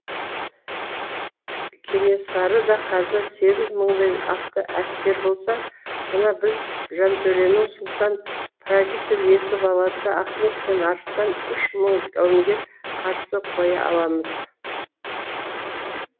кенесарыда қазір сегіз мыңдай атты әскер болса мына біз жантөренің сұлтан правитель екі баласы ахмет пен арыстан үш мың жауынгер қарсы қоя аламыз